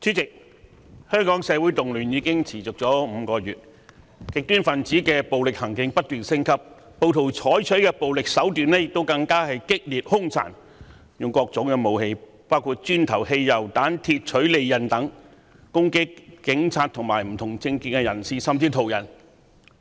主席，香港社會動亂已持續5個月，極端分子的暴力行徑不斷升級，暴徒採取的暴力手段更見激烈、兇殘，他們使用各種武器，包括磚頭、汽油彈、鐵槌及利刃等，攻擊警察和不同政見的人士，甚至是途人。